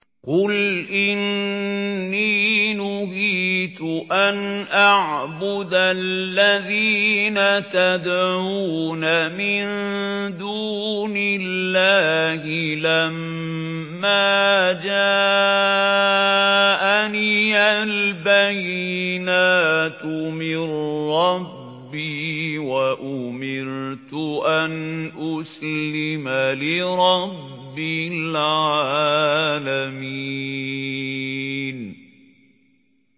۞ قُلْ إِنِّي نُهِيتُ أَنْ أَعْبُدَ الَّذِينَ تَدْعُونَ مِن دُونِ اللَّهِ لَمَّا جَاءَنِيَ الْبَيِّنَاتُ مِن رَّبِّي وَأُمِرْتُ أَنْ أُسْلِمَ لِرَبِّ الْعَالَمِينَ